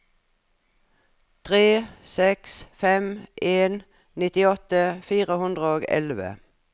tre seks fem en nittiåtte fire hundre og elleve